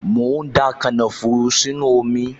Mò ń da kànáfùrù sínú omi